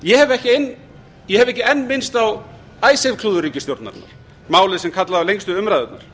ég hef ekki enn minnst á icesave klúður ríkisstjórnarinnar málið sem kallaði á lengstu umræðurnar